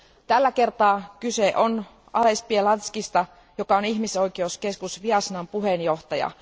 Tällä kertaa kyse on Ales Bialatskista, joka on ihmisoikeuskeskus Viasnan puheenjohtaja.